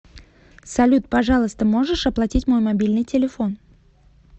салют пожалуйста можешь оплатить мой мобильный телефон